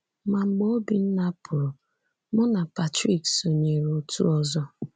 Ma, mgbe Obinna pụrụ, mụ na Patrick sonyeere otu ọzọ.